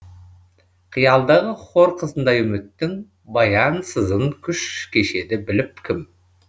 қиялдағы хор қызындай үміттің баянсызын күш кешеді біліп кім